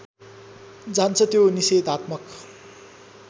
जान्छ त्यो निषेधात्मक